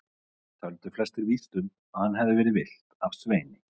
Töldu flestir víst að um hann hefði verið villt af Sveini.